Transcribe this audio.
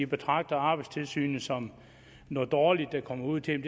betragter arbejdstilsynet som noget dårligt der kommer ud til